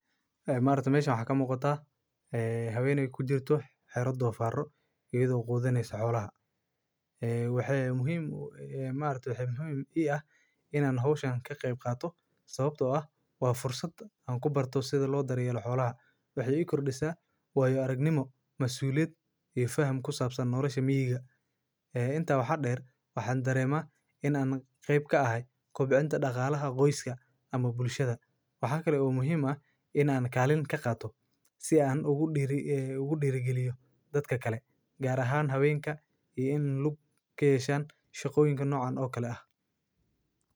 Haay, Maarti meeshan waxa ka muuqataa, haay, habeeney ku diirta xero dhufaaro iyo daawo qudaneysasoolaha. Haay, waxee muhiim, ee Maarti waxa muhiim ah inaan hawshaan ka qeyb qaato sababtoo ah waa fursad an ku barto sida loo daryeello xoolaha. Waxyu kor dhisaa waayo aragnimo, masuuliyad iyo faham ku saabsan noolashamyigga. Haay, intaa waxa dheer, waxaan dareema in aan qeyb ka ahay koobicinta dhaqaalaha, qoyska ama bulshada. Waxaa kale oo muhiim ah in aan kaalin ka qaatoo si aan ugu dhiri, ee ugu dhigeliyo dadka kale. Gaar ahaan habeenka iyo in lagu keysaan shaqooyinka noocan oo kale ah.